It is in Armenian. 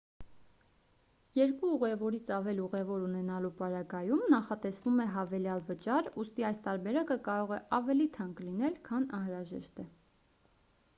2 ուղևորից ավել ուղևոր ունենալու պարագայում նախատեսվում է հավելյալ վճար ուստի այս տարբերակը կարող է ավելի թանկ լինել քան անհրաժեշտ է